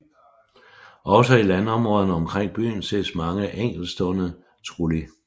Også i landområderne omkring byen ses mange enkeltstående trulli